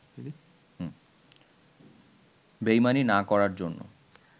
বেইমানি না করার জন্য